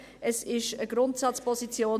Es ist eine Grundsatzposition.